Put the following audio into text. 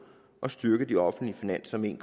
og styrke de offentlige finanser med en